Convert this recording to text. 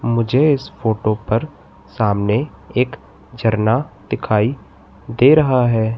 मुझे इस फोटो पर सामने एक झरना दिखाई दे रहा है।